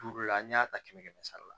Duuru la n'i y'a ta kɛmɛ kɛmɛ sara la